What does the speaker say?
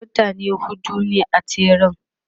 mutane huɗu ne a tseren